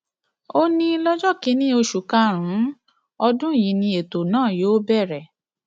ó ní lọjọ kìnínní oṣù karùnún ọdún yìí ni ètò náà yóò bẹrẹ